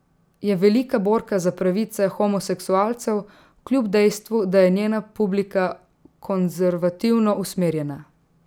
Je velika borka za pravice homoseskualcev, kljub dejstvu, da je njena publika konzervativno usmerjena.